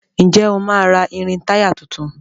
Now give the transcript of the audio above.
Ǹjẹ́ o máa ra irin-táyà tuntun?